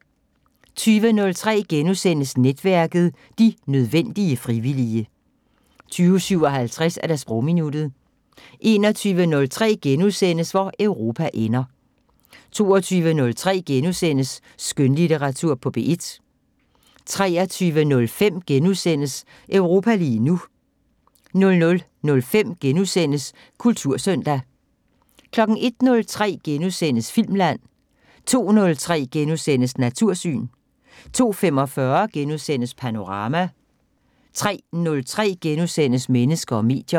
20:03: Netværket: De nødvendige frivillige * 20:57: Sprogminuttet 21:03: Hvor Europa ender * 22:03: Skønlitteratur på P1 * 23:05: Europa lige nu * 00:05: Kultursøndag * 01:03: Filmland * 02:03: Natursyn * 02:45: Panorama * 03:03: Mennesker og medier *